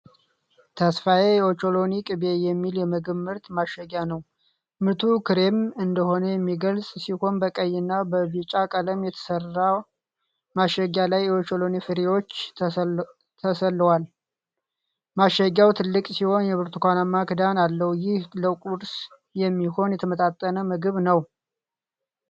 "ተስፋዬ የኦቾሎኒ ቅቤ" የሚል የምግብ ምርት ማሸጊያ ነው። ምርቱ ክሬሚ እንደሆነ የሚገልጽ ሲሆን፣ በቀይ እና በቢጫ ቀለም የተሠራው ማሸጊያ ላይ የኦቾሎኒ ፍሬዎች ተሥለዋል። ማሸጊያው ትልቅ ሲሆን የብርቱካናማ ክዳን አለው። ይህ ለቁርስ የሚሆን የተመጣጠነ ምግብ ነው።